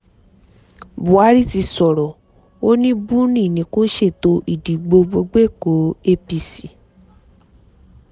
buhari ti sọ̀rọ̀ ó ní buni ni kò sètò ìdìbò gbọgbẹ́kọ̀ọ́ apc